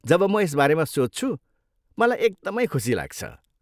जब म यसबारे सोच्छु, मलाई एकदमै खुसी लाग्छ।